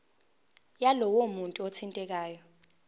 yalowo muntu othintekayo